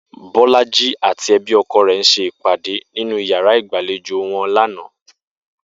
Bó̩lájí àti e̩bí o̩ko̩ rè̩ s̩e ìpàdé nínú yàrá ìgbàlejò wo̩n lánàá